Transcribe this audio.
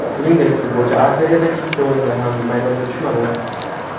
Shuningdek, futbolchi A Seriyadagi ikkita o‘yinda ham maydonga tushmadi.